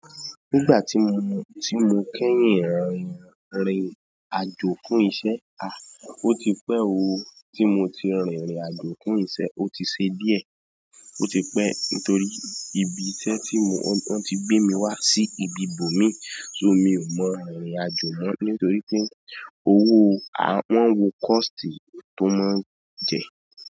Nígbà tí mo, tí mo kẹ́yìn rìnrìn àjò fún iṣẹ́, à, ó ti pẹ́ ooo. Tí mo ti rìnrìn àjò fún iṣẹ́ ó ti ṣe díẹ̀. Ó ti pẹ́ nítorí ibi iṣẹ́ tí mo, wọ́n ti gbé mi wá sí ibi ibòmí, so mi ò mọ rìrìnàjò mọ́ nítorí pé owó o, wọ́n ń wo cost tó máa ń jẹ.